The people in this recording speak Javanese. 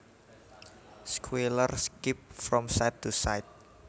Squealer skipped from side to side